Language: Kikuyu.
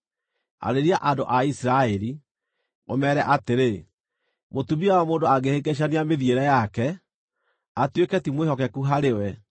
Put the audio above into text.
“Arĩria andũ a Isiraeli, ũmeere atĩrĩ: ‘Mũtumia wa mũndũ angĩhĩngĩcania mĩthiĩre yake, atuĩke ti mwĩhokeku harĩ we